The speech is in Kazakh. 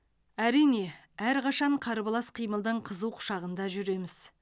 әрине әрқашан қарбалас қимылдың қызу құшағында жүреміз